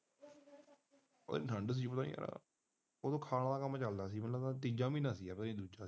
ਠੰਡ ਸੀ ਕੋਈ ਓ ਖਾਣ ਵਾਲਾ ਕੰਮ ਚੱਲਦੀ ਸੀ ਤੀਜਾ ਮਹੀਨਾ ਸੀ